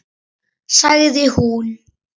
Sagði hún.